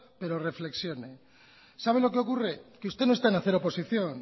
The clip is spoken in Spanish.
pero reflexione sabe lo que ocurre que usted no está en hacer oposición